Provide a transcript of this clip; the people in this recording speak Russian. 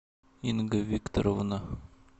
инга викторовна